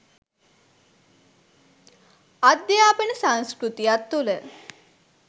අධ්‍යාපන සංස්කෘතියක් තුළ